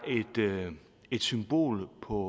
et symbol på